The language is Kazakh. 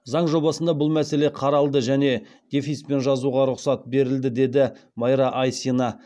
заң жобасында бұл мәселе қаралды және дефиспен жазуға рұқсат берілді деді майра айсина